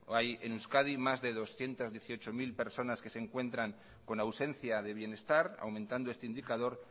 hay en euskadi más de doscientos dieciocho mil personas que se encuentran con ausencia de bienestar aumentando este indicador